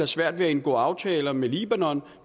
svært ved at indgå aftaler med libanon